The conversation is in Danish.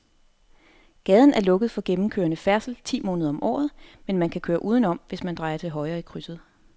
Gaden er lukket for gennemgående færdsel ti måneder om året, men man kan køre udenom, hvis man drejer til højre i krydset.